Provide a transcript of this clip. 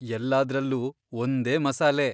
ಎಲ್ಲಾದ್ರಲ್ಲೂ ಒಂದೇ ಮಸಾಲೆ.